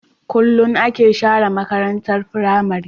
Kulun ake share makarantar pramary